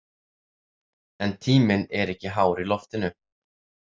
En tíminn er ekki hár í loftinu.